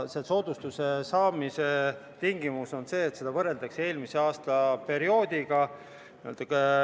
Selle soodustuse saamise tingimus on see, et arvestusperioodi võrreldakse eelmise aastaga.